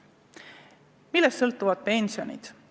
Millest sõltuvad pensionid?